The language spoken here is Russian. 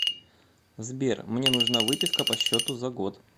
сбер мне нужна выписка по счету за год